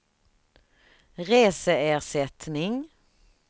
reseersättning